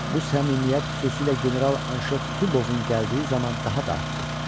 Bu səmimiyyət xüsusilə general Anşef Zubovun gəldiyi zaman daha da artdı.